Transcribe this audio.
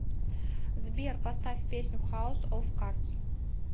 сбер поставь песню хаус оф кардс